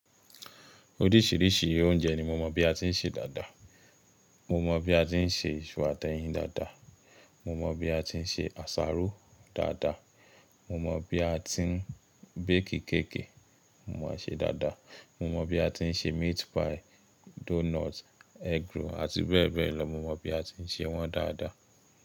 Oríṣìíríṣìí oúnjẹ ni mo mọ̀ bí a ti ń ṣe dáadáa. Mo mọ̀ bí a ti ń ṣe isu atẹ́yin dáadáa, mo mọ̀ bí a ti ń ṣe àsáró dáadáa, mo mọ̀ bí a ti ń bakii kẹ̀ki, mo mọ̀ ẹ ṣe dáadáa, mo mọ̀ bí a ti ń ṣe meat pie, donut, egg roll àti bẹ́ẹ̀ bẹ́ẹ̀ lọ, mo mọ̀ bí a ti ń ṣe wọ́n dáadáa.